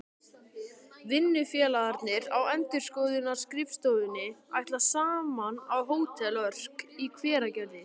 Vinnufélagarnir á endurskoðunarskrifstofunni ætla saman á Hótel Örk í Hveragerði.